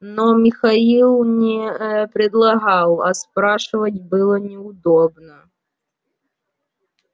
но михаил не предлагал а спрашивать было неудобно